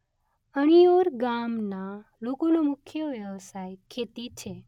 અણીયોર ગામના લોકોનો મુખ્ય વ્યવસાય ખેતી છે